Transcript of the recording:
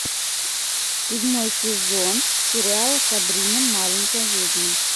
седьмой сезон сериал сабрина маленькая ведьма